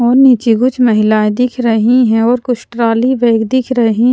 और नीचे कुछ महिलाएँ दिख रही हैं और कुछ ट्रॉली बैग दिख रही।